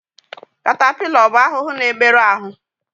Katapila ọ bụ ahụhụ na-emerụ ahụ?